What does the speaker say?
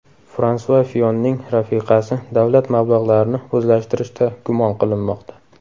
Fransua Fiyonning rafiqasi davlat mablag‘larini o‘zlashtirishda gumon qilinmoqda.